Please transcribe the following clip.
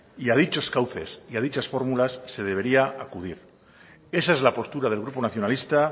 y a dichos cauces y a dichas fórmulas se debería acudir esa es la postura del grupo nacionalista